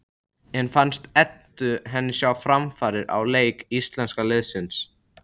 En fannst Eddu henni sjá framfarir á leik íslenska liðsins?